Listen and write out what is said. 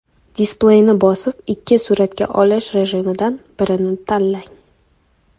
Displeyni bosib, ikki suratga olish rejimidan birini tanlang.